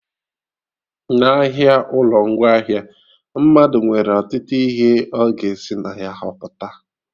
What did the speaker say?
N'ahịa ụlọ ngwaahịa, mmadụ nwere ọtụtụ ihe ọ ga esi na ya họpụta